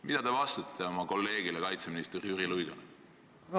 " Mida te vastate oma kolleegile kaitseminister Jüri Luigele?